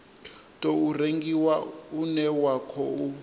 tou rengiwa une wa khou